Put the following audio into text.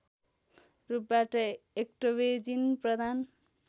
रूपबाट एक्टोवेजिन प्रदान